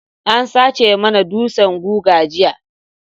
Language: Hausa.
An sace mana dutsan guga jiya.